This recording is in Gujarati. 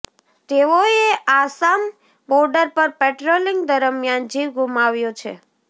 તેઓએ આસામ બોર્ડર પર પેટ્રોલિંગ દરમિયાન જીવ ગુમાવ્યો છે